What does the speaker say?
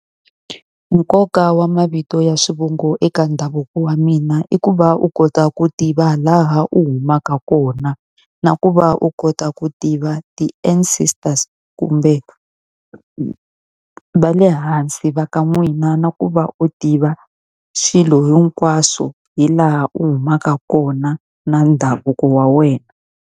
Nkoka wa mavito ya swivongo eka ndhavuko wa mina i ku va u kota ku tiva laha u humaka kona, na ku va u kota ku tiva ti-ancestors kumbe va le hansi va ka n'wina. Na ku va u tiva swilo hinkwaswo hi laha u humaka kona na ndhavuko wa wena.